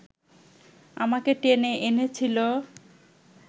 আমাকে টেনে এনেছিল